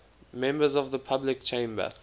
members of the public chamber